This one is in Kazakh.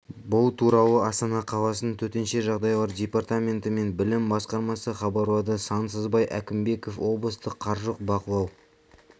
бұл туралы астана қаласының төтенше жағдайлар департаменті мен білім басқармасы хабарлады сансызбай әкімбеков облыстық қаржылық бақылау